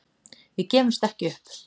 Við gefumst ekki upp